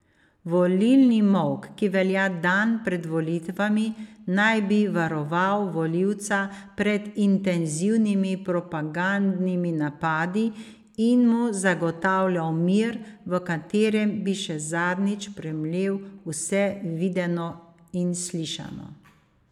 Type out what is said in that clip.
Volilni molk, ki velja dan pred volitvami, naj bi varoval volivca pred intenzivnimi propagandnimi napadi in mu zagotavljal mir, v katerem bi še zadnjič premlel vse videno in slišano.